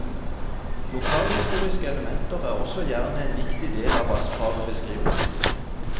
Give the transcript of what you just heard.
Lokalhistoriske elementer er også gjerne en viktig del av vassfarbeskrivelsene.